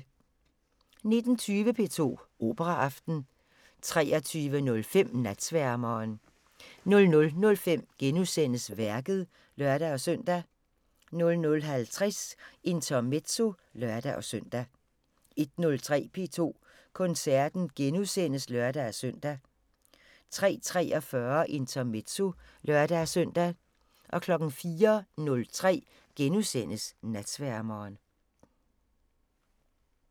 19:20: P2 Operaaften 23:05: Natsværmeren 00:05: Værket *(lør-søn) 00:50: Intermezzo (lør-søn) 01:03: P2 Koncerten *(lør-søn) 03:43: Intermezzo (lør-søn) 04:03: Natsværmeren *